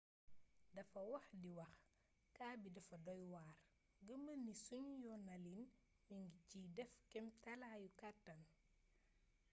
dafa wey di wax kaa bii dafa doy waar.gëmal ni sunu yoonalin mi ngi ciy def kemtalaayu kàttan.